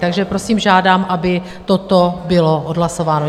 Takže prosím, žádám, aby toto bylo odhlasováno.